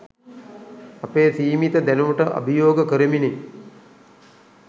අපේ සීමිත දැනුමට අභියෝග කරමිනි